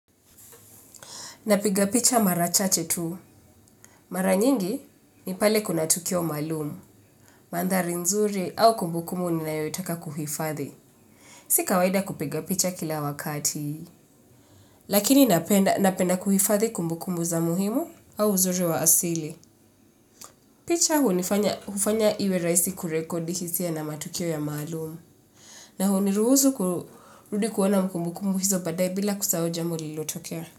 Napiga picha mara chache tu. Mara nyingi ni pale kuna tukio maalumu. Mandhari nzuri au kumbukumbu ninayoitaka kuhifadhi. Si kawaida kupiga picha kila wakati. Lakini napenda napenda kuhifadhi kumbukumbu za muhimu au uzuri wa asili. Picha hu nifanya hufanya iwe rahisi kurekodi hisia na matukio ya maalumu. Na hu niruhusu kurudi kuona kumbukumbu hizo baadaye bila kusahau jambo lilotokea.